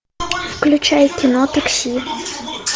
включай кино такси